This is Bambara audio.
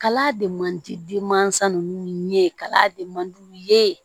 Kala de man di den mansa ninnu ni ye kala de man di u ye